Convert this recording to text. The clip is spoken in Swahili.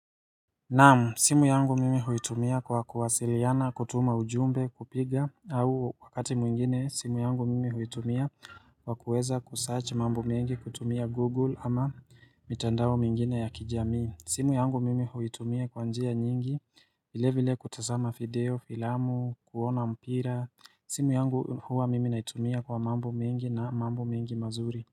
Naamu, simu yangu mimi huitumia kwa kuwasiliana, kutuma ujumbe, kupiga, au wakati mwingine, simu yangu mimi huitumia, wakuweza ku search mambo mengi, kutumia Google ama mitandao mingine ya kijamii. Simu yangu mimi huitumia kwa njia nyingi, vile vile kutazama video, filamu, kuona mpira. Simu yangu huwa mimi naitumia kwa mambo mengi na mambo mingi mazuri.